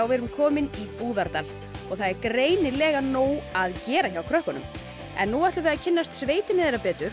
við erum komin í Búðardal og það er greinilega nóg að gera hjá krökkunum nú ætlum við að kynnast sveitinni þeirra betur